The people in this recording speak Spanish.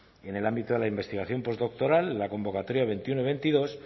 y en el ámbito de la investigación postdoctoral la convocatoria veintiuno veintidós